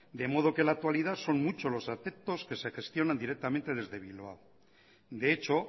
de modo que en la actualidad son muchos los aspectos que se gestionan desde bilbao de hecho